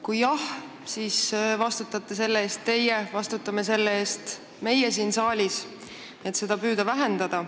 Kui jah, siis vastutate selle eest teie ja vastutame selle eest meie siin saalis, et püüda seda vähendada.